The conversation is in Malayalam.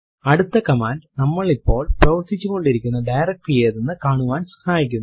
അടുത്ത കമാൻഡ് നമ്മൾ ഇപ്പോൾ പ്രവര്ത്തിച്ചുകൊണ്ടിരിക്കുന്ന ഡയറക്ടറി ഏതെന്നു കാണുവാൻ സഹായിക്കുന്നു